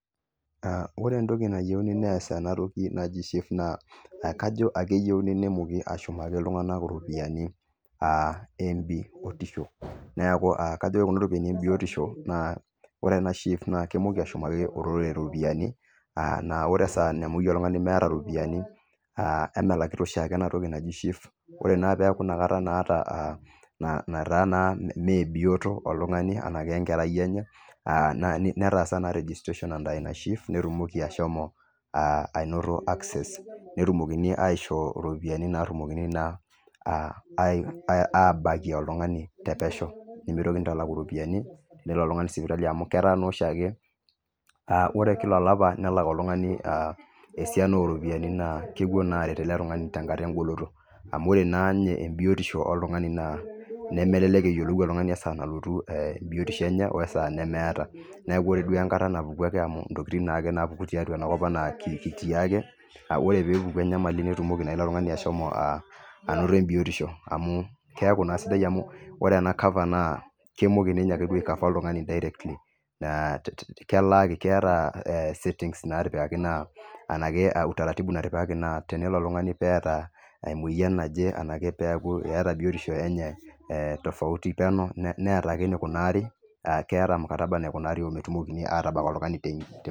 Ore entoki nayieuni nias eena toki naji SHIF naa kajo ekeyieuni nemooki ashumaki iltung'anak iropiyiani. Ore kuna ropiyiani e biotisho, ore eena SHIF naa kemooki ashumaki olorere iropiyiani naa ore esaa nemeyieu oltung'ani nemeeta iropiyiani, aah emelakita oshiake ena toki naaji SHIF ore naa peyie iaku ina kata naa imebioto oltung'ani araki enkarai enye netaasa naa registaration under SHIF netumoki ashomo anoto access netumokini na aishoo iropiyiani naa naidimi naa abakie oltung'ani te pesho nemeitokiniaitalaki iropiyaini tenelo oltung'ani sipitali amuu ketaa naa oshiake ore kila olapa nelak oltung'ani esiana oropiyiani naa kepuo naa aaret eele tung'ani tenkata egoloto. Amuu oore naa ninye biotisho oltung'ani nemelelek eyiolou oltung'ani esaa nalotu ebiotisho eenye wesaa nalotu niaku oore duo enkata napuku amuu intokitin naa napuku tiatua enakop kitii aake, oore peyie epuku enyamali netumoki naa ilo tung'ani ashomo anoto embiotisho amuu kiaku naa sidai amuu oore eena cover naa kemoki duo aake ninye aicover oltung'ani directly. Naa ekeeta settings araki utaratib natipikaki naa tenelo oltung'ani pee eeta emueyian naje araki peyie aiaku eeta biotisho eenye tofauti peenyo neeeta aake eneikunari, keeta mkataba naikunari ometumokini atbak oltung'ani.